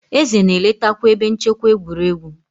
Eze na-eletakwa ebe nchekwa egwuregwu.